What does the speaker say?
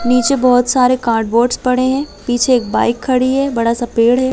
नीचे बहोत सारे कार्डबोर्ड पड़े है पीछे एक बाइक खड़ी है बड़ा सा पेड़ है।